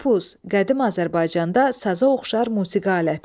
Qopuz, qədim Azərbaycanda saza oxşar musiqi aləti.